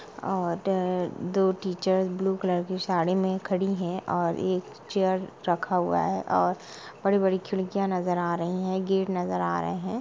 और दो teacher blue colour की साड़ी में खड़ी है और एक चेयर रखा हुआ है और बड़ी-बड़ी खिड़कियां नजर आ रही हैं गेट नजर आ रहे।